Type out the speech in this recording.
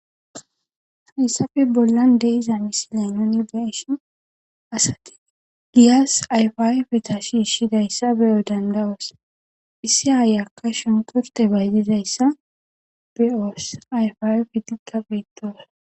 Haysappe bolla de'iza misile nuni beyishn asati giyas ayfa ayfeta shiishidaysa beyo danda'os. Issi ayiyaka shunkurte bayzizaysa beyosi ayfa ayfetika beto